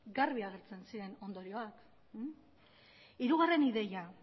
garbi agertzen ziren ondorioa hirugarren ideia